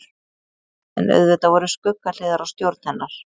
en auðvitað voru skuggahliðar á stjórn hennar